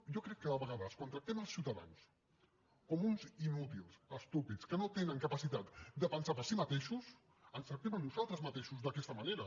jo crec que a vegades quan tractem els ciutadans com uns inútils estúpids que no tenen capacitat de pensar per si mateixos ens tractem a nosaltres mateixos d’aquesta manera